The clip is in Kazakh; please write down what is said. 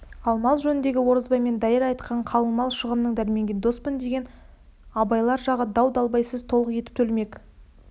ал мал жөніндегі оразбай мен дайыр айтқан қалыңмал шығынын дәрменге доспын деген абайлар жағы дау-далбайсыз толық етіп төлемек